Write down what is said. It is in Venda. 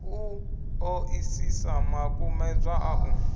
u ṱoḓisisa makumedzwa a u